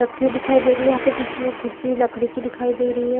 रखीदिखाई दे रही है यहाँ पे बीच में कुर्सी लकड़ी की दिखाई दे रही है।